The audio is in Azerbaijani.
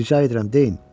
Rica edirəm, deyin.